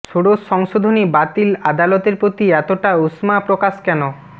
ষোড়শ সংশোধনী বাতিল আদালতের প্রতি এতটা উষ্মা প্রকাশ কেন